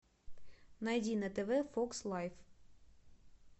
найди на тв фокс лайф